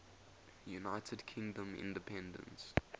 united kingdom independence